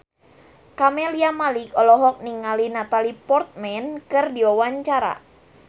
Camelia Malik olohok ningali Natalie Portman keur diwawancara